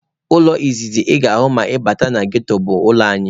Ụlọ izizi ị ga-ahụ ma ị bata na ghetto bụ ụlọ anyị.